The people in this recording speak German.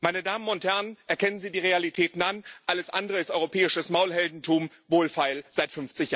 Meine Damen und Herren, erkennen Sie die Realitäten an alles andere ist europäisches Maulheldentum, wohlfeil seit